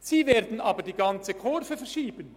Sie werden aber die ganze Kurve verschieben.